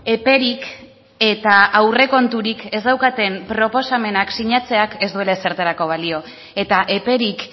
eperik eta aurrekonturik ez daukaten proposamenak sinatzeak ez duela ezertarako balio eta eperik